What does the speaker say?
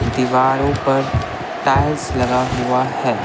दीवारों पर टाइल्स लगा हुआ है।